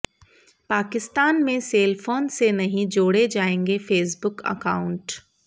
पाकिस्तान में सेलफोन से नहीं जोड़े जाएंगे फेसबुक अकाउंट